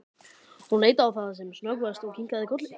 Hún leit á það sem snöggvast og kinkaði kolli.